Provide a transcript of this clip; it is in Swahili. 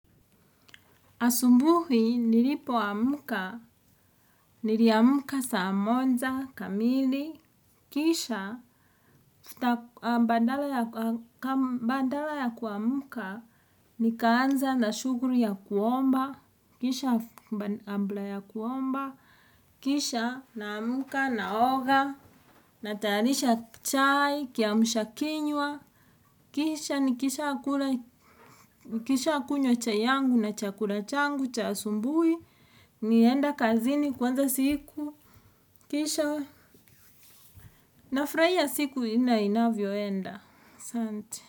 Asubuhi nilipo amka, niliamka saa moja kamili. Kisha, badala ya kuamka, nikaanza na shughuli ya kuomba. Kisha naamka naoga natayarisha chai, kiamsha kinywa. Kisha ni kisha kunywa chai yangu na chakula changu cha asubuhi. Ninaenda kazini kuanza siku. Kisha nafurahia siku inavyoenda. Asante.